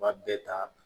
U b'a bɛɛ ta